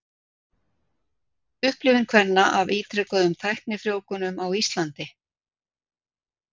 Upplifun kvenna af ítrekuðum tæknifrjóvgunum á Íslandi.